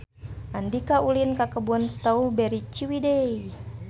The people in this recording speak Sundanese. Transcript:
Andika ulin ka Kebun Strawberry Ciwidey